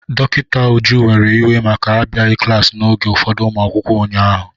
Dọkịta Uju were iwe maka abịaghị klaasị n'oge ụfọdụ ụmụ akwụkwọ ụnyaahụ.